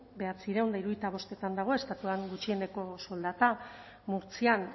bederatziehun eta hirurogeita bostetan dago estatuan gutxieneko soldata murtzian